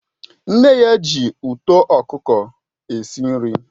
Nne ya ji uto okuko n'esi nri